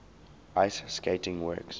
ice skating works